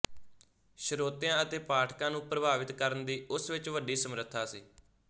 ਸ਼ਰੋਤਿਆਂ ਅਤੇ ਪਾਠਕਾਂ ਨੂੰ ਪ੍ਰਭਾਵਿਤ ਕਰਨ ਦੀ ਉਸ ਵਿੱਚ ਵੱਡੀ ਸਮਰੱਥਾ ਸੀ